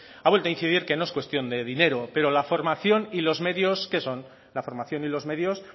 ha vuelto a incidir que no es cuestión de dinero pero la formación y los medios qué son la formación y los medios